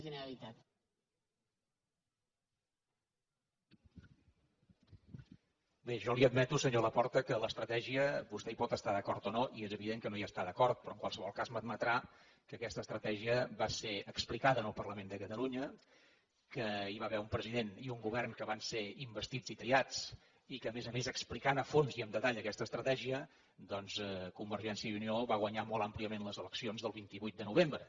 bé jo li admeto senyor laporta que en l’estratègia vostè hi pot estar d’acord o no i és evident que no hi està d’acord però en qualsevol cas m’admetrà que aquesta estratègia va ser explicada al parlament de catalunya que hi va haver un president i govern que van ser investits i triats i que a més a més explicant a fons i amb detall aquesta estratègia doncs convergència i unió va guanyar molt àmpliament les eleccions del vint vuit de novembre